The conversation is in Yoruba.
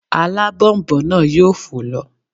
Alábònboǹ náà yóò fò lọ